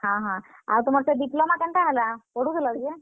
ହଁ, ହଁ ଆଉ ତୁମର ସେ Diploma କେନ୍ତା ହେଲା, ପଢୁଥିଲ ଯେ?